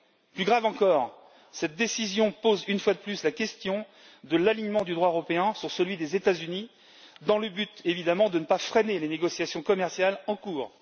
Plus grave encore, cette décision pose, une fois de plus, la question de l'alignement du droit européen sur celui des États Unis, dans le but évidemment de ne pas freiner les négociations commerciales en cours.